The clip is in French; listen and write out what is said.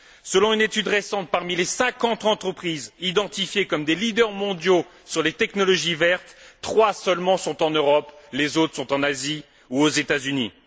Selon une étude récente, parmi les 50 entreprises identifiées comme des leaders mondiaux des technologies vertes, trois seulement sont en Europe, les autres sont en Asie ou aux États Unis.